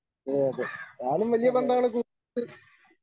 അതെ അതെ ഞാനും വലിയ പന്താണ്